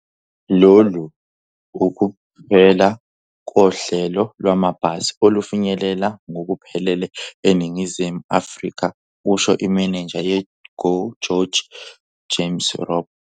"Lolu ukuphela kohlelo lwamabhasi olufinyeleleka ngokuphelele eNingizimu Afrika," kusho imenenja ye-GO GEORGE uJames Robb.